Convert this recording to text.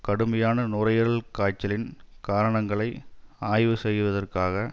கடுமையான நுரையீரல் காய்ச்சலின் காரணங்களை ஆய்வு செய்வதற்காக